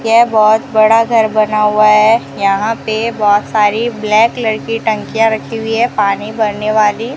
ये बहोत बड़ा घर बना हुअ है यहां पे बहोत सारी ब्लैक कलर की टंकियां रखी हुई हैं पानी भरने वाली --